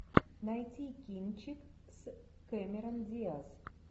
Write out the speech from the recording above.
найти кинчик с кэмерон диаз